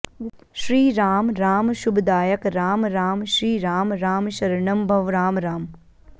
श्रीराम राम शुभदायक राम राम श्रीराम राम शरणं भव राम राम